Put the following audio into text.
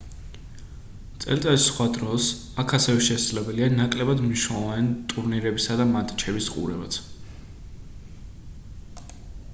წელიწადის სხვა დროს აქ ასევე შესაძლებელია ნაკლებად მნიშვნელოვანი ტურნირებისა და მატჩების ყურებაც